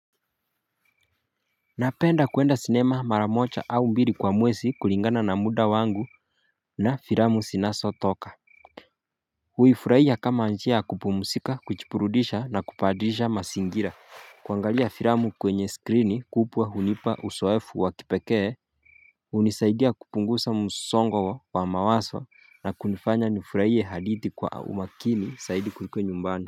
Napenda kuenda sinema mara mocha au mbili kwa mwesi kulingana na muda wangu na firamu sinaso toka Uifurahia kama nchi ya kupumsika, kuchipurudisha na kupadirisha masingira. Kuangalia firamu kwenye skrini kupwa hunipa usoefu wa kipekee unisaidia kupungusa msongo wa mawaso na kunifanya nifurahie hadithi kwa umakini saidi kuliko nyumbani.